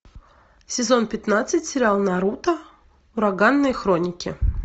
сезон пятнадцать сериал наруто ураганные хроники